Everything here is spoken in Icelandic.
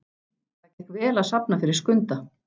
Það gekk vel að safna fyrir Skunda.